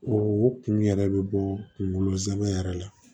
O kun yɛrɛ bɛ bɔ kungolo zɛmɛ yɛrɛ la